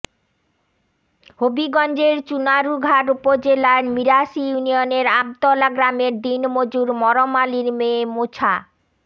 হবিগঞ্জের চুনারুঘাট উপজেলার মিরাশী ইউনিয়নের আমতলা গ্রামের দিন মজুর মরম আলীর মেয়ে মোছা